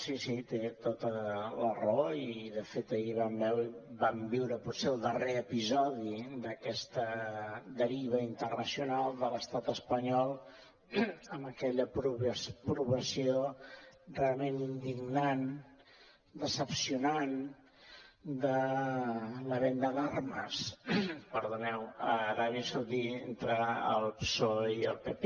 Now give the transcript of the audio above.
sí sí té tota la raó i de fet ahir vam viure potser el darrer episodi d’aquesta deriva internacional de l’estat espanyol amb aquella aprovació realment indignant decebedora de la venda d’armes a l’aràbia saudita entre el psoe i el pp